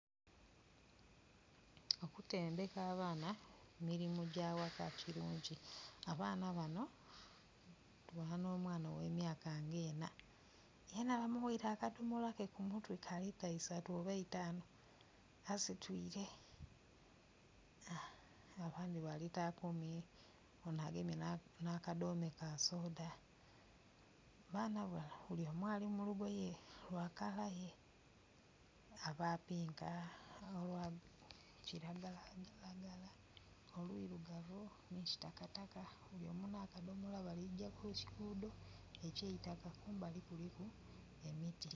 Okutendheka abaana emirimo gya ghaka kilungi abaana bano tubona n'omwana ogh'emyaka nga enna yena bamugheire akadomolake ku mutwe ka lita isatu oba itaanu asitwire, abandhi ba lita kumi ono agemye na kadome ka soda. Abaana bano bulyomu ali mu lugoye lwa kalaye, abapinka, aba kiragala, olwirugavu no lwa kitakataka bulyomu na kadomola baligya ku kigudho ekyeitaka kumbali kuliku emiti.